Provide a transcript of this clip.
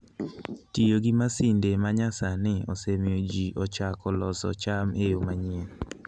Tiyo gi masinde ma nyasani osemiyo ji ochako loso cham e yo manyien.